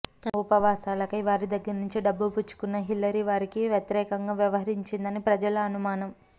తన ఉపన్యాసాలకై వారి దగ్గర్నుంచి డబ్బు పుచ్చుకున్న హిల్లరీ వారికి వ్యతిరేకంగా వ్యవహరించదని ప్రజల అనుమానం